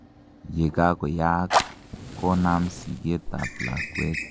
yekakoyaak, konam siget ab lakwet